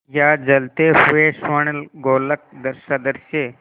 या जलते हुए स्वर्णगोलक सदृश